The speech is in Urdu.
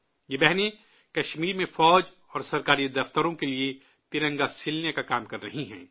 یہ بہنیں کشمیر میں فوج اور سرکاری دفتروں کے لیے ترنگا سلنے کا کام کر رہی ہیں